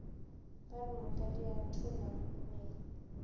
ba re mokadiathola o ne